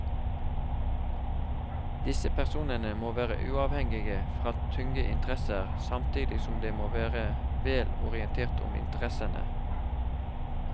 Disse personene må være uavhengige fra tunge interesser, samtidig som de må være vel orientert om interessene.